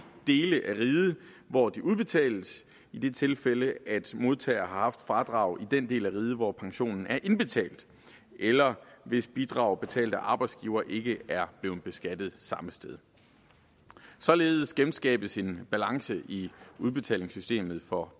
dele af riget hvor de udbetales i det tilfælde at modtager har haft fradrag i den del af riget hvor pensionen er indbetalt eller hvis bidrag betalt af arbejdsgiver ikke er blevet beskattet samme sted således genskabes en balance i udbetalingssystemet for